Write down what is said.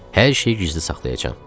Hər şeyi gizli saxlayacam.